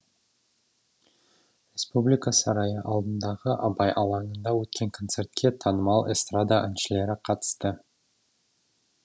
республика сарайы алдындағы абай алаңында өткен концертке танымал эстрада әншілері қатысты